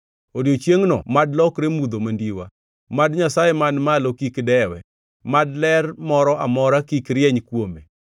Odiechiengno mad lokre mudho; mad Nyasaye man malo kik dewe; mad ler moro amora kik rieny kuome.